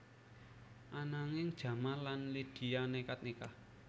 Ananging Jamal lan Lydia nékad nikah